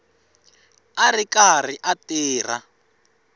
a ri karhi a tirha